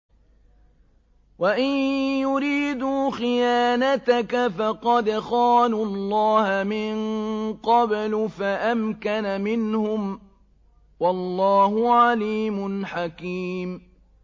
وَإِن يُرِيدُوا خِيَانَتَكَ فَقَدْ خَانُوا اللَّهَ مِن قَبْلُ فَأَمْكَنَ مِنْهُمْ ۗ وَاللَّهُ عَلِيمٌ حَكِيمٌ